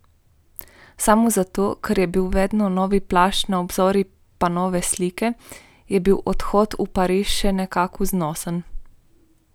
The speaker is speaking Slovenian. Samo zato, ker je bil vedno novi plašč na obzorju pa nove slike, je bil odhod v Pariz še nekako znosen.